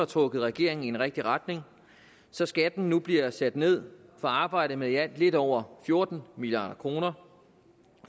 trukket regeringen i en rigtig retning så skatten nu bliver sat ned for arbejde med i alt lidt over fjorten milliard kroner